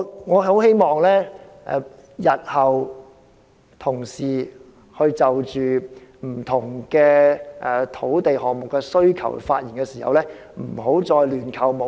我很希望同事日後就不同土地項目的需求發言時，不要再亂扣帽子。